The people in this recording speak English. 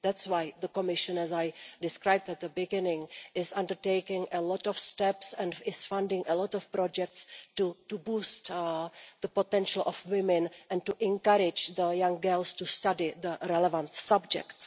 That is why the Commission, as I described at the beginning, is undertaking a lot of steps and is funding a lot of projects to boost the potential of women and to encourage young girls to study the relevant subjects.